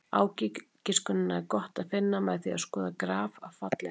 Ágiskunina er gott að finna með því að skoða graf af fallinu.